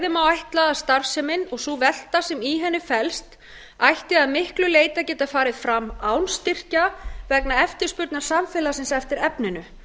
má ætla að starfsemin og sú velta sem í henni felst ætti að miklu leyti að geta farið fram án styrkja vegna eftirspurnar samfélagsins eftir efninu